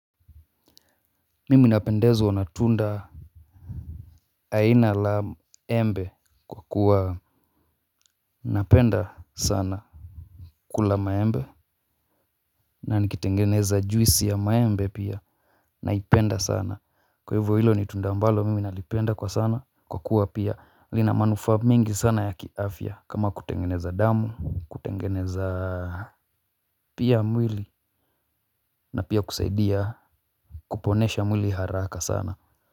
Mimi napendezwa na tunda. Aina la embe, kwa kuwa napenda sana. Kula maembe. Na nikitengeneza juisi ya maembe pia naipenda sana, kwa hivyo hilo ni tunda ambalo mimi nalipenda kwa sana, kwa kuwa pia linamanuufa mingi sana ya kiafya kama kutengeneza damu, kutengeneza pia mwili na pia kusaidia kuponesha mwili haraka sana.